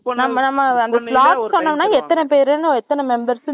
எத்தனை பேரு எத்தனை members னு சொல்லிட்டனோ அவங்க வந்து time தருவாங்க நமக்கு